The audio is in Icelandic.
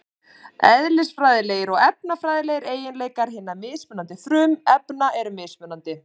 Eðlisfræðilegir og efnafræðilegir eiginleikar hinna mismunandi frumefna eru mismunandi.